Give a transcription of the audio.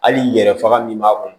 Hali yɛrɛ faga min b'a kɔnɔ